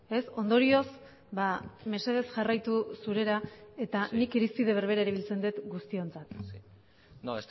ez ondorioz mesedez jarraitu zurera eta nik irizpide berbera erabiltzen dut guztiontzat no